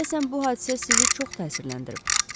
Deyəsən bu hadisə sizi çox təsirləndirib.